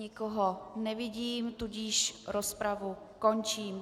Nikoho nevidím, tudíž rozpravu končím.